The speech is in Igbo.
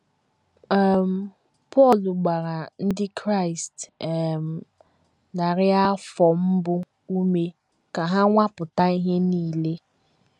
um Pọl gbara Ndị Kraịst um narị afọ mbụ ume ka ha “ nwapụta ihe nile. ”